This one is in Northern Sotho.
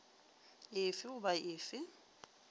e fe goba e fe